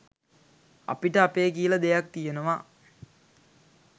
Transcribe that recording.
අපිට අපේ කියල දෙයක් තියෙනවා